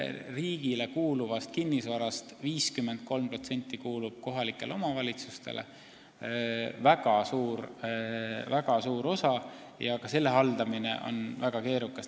Riigile kuuluvast kinnisvarast 53% – väga suur osa – kuulub kohalikele omavalitsustele, aga selle haldamine on väga keerukas.